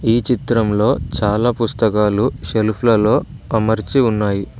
ఈ చిత్రంలో చాలా పుస్తకాలు సెల్ఫ్ లలో అమర్చి ఉన్నాయి.